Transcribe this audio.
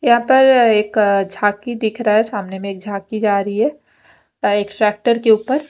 यहाँ पर एक जाकी दिखरा है सामने में एक जाकी जारी है ता एक सेक्टर के उपर--